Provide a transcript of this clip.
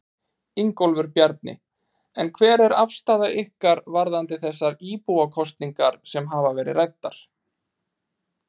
Ingólfur Bjarni: En hver er afstaða ykkar varðandi þessar íbúakosningar sem hafa verið ræddar?